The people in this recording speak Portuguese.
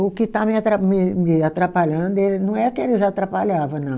O que está me atra me me atrapalhando, não é que eles atrapalhava, não.